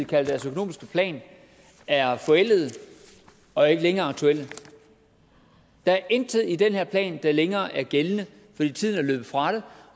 kaldte deres økonomiske plan er forældede og ikke længere aktuelle der er intet i den her plan der længere er gældende fordi tiden er løbet fra den